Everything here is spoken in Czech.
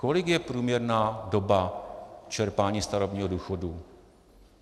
Kolik je průměrná doba čerpání starobního důchodu?